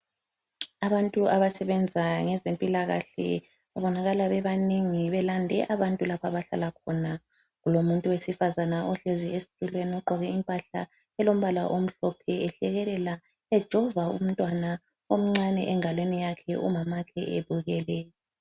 Abantu abasebenza ngezempilakahle babonakala bebanengi belande abantu lapha abahlala khona. Kulomuntu owesifazane ohlezi esitulweni ogqoke impahla elombala omhlophe ehlekelela ejova umntwana omncane engalweni yakhe umamakhe ebukele.